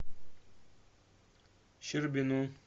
щербину